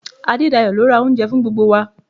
Adedayo ló ra oúnjẹ fún gbogbo wa.